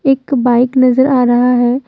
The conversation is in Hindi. एक बाइक नजर आ रहा है।